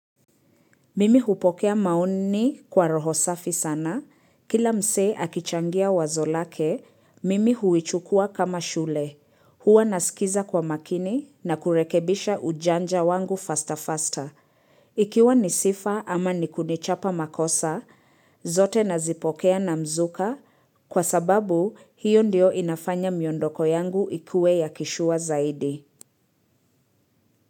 Mimi hupokea maoni kwa roho safi sana, kila msee akichangia wazo lake, mimi huichukua kama shule, huwa nasikiza kwa makini na kurekebisha ujanja wangu faster-faster. Ikiwa nisifa ama nikudichapa makosa, zote nazipokea na mzuka, kwa sababu hiyo ndio inafanya myondoko yangu ikue ya kishua zaidi.